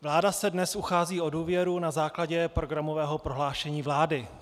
Vláda se dnes uchází o důvěru na základě programového prohlášení vlády.